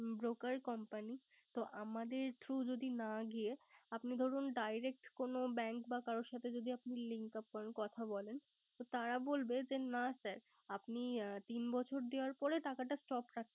Broker company তো আমাদের না গিয়ে আপনি যদি Direct কোন Bank বা কারো সাথে যদি Linkup করেন কাথা বলেন তো তারা বলবে। না যে sir আপনি তিন বছর দেওয়ার পরে